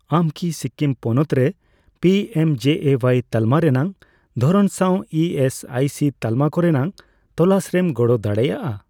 ᱟᱢ ᱠᱤ ᱥᱤᱠᱤᱢ ᱯᱚᱱᱚᱛ ᱨᱮ ᱯᱤᱮᱢᱡᱮᱮᱣᱟᱭ ᱛᱟᱞᱢᱟ ᱨᱮᱱᱟᱜ ᱫᱷᱚᱨᱚᱱ ᱥᱟᱣ ᱤ ᱮᱥ ᱟᱭ ᱥᱤ ᱛᱟᱞᱢᱟ ᱠᱚᱨᱮᱱᱟᱜ ᱛᱚᱞᱟᱥᱨᱮᱢ ᱜᱚᱲᱚ ᱫᱟᱲᱮᱭᱟᱜᱼᱟ ?